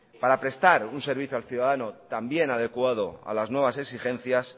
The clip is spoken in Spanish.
para prestar un servicio al ciudadano también adecuado a las nuevas exigencias